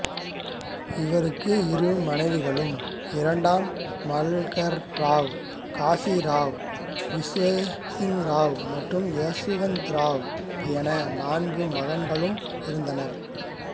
இவருக்கு இரு மனைவிகளும் இரண்டாம் மல்கர் ராவ் காசிராவ் விதோசிராவ் மற்றும் யசுவந்த்ராவ் என நான்கு மகன்களும் இருந்தனர்